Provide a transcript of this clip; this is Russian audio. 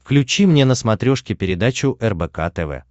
включи мне на смотрешке передачу рбк тв